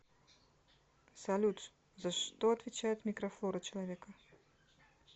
салют за что отвечает микрофлора человека